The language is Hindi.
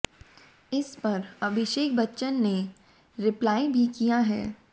इस पर अभिषेक बच्चन ने रिप्लाई भी किया है